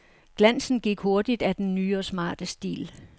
Glansen gik hurtigt af den nye og smarte stil.